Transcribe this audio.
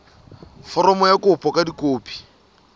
foromo ya kopo ka dikopi